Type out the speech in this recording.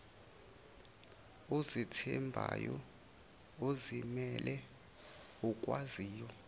ozethembayo ozimele okwaziyo